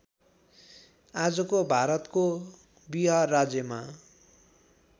आजको भारतको विहार राज्यमा